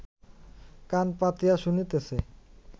কান পাতিয়া শুনিতেছে